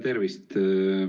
Tervist!